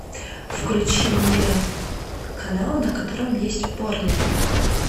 включи мне канал на котором есть порно